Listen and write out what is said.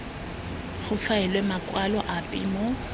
go faelwe makwalo ape mo